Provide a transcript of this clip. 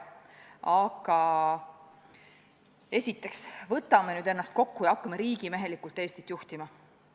Aga esiteks, võtame nüüd ennast kokku ja hakkame riigimehelikult Eestit juhtima.